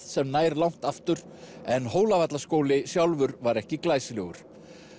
sem nær langt aftur en sjálfur var ekki glæsilegur